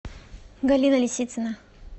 галина лисицына